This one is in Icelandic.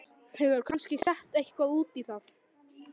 Hún hefur kannski sett eitthvað út í það.